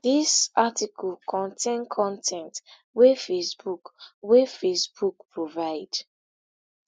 dis article contain con ten t wey facebook wey facebook provide